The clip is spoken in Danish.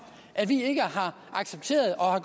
at vi ikke har accepteret og